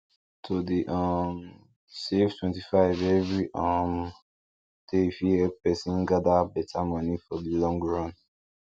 to dey um save 25 every um day fit help person gather better money for the long run